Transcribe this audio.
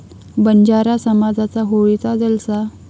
बंजारा समाजाचा होळीचा जलसा